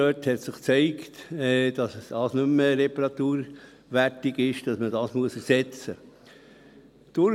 Und da hat sich gezeigt, dass es nicht mehr reparaturwertig ist, dass man es ersetzen muss.